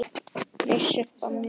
Nei, Sibba mín.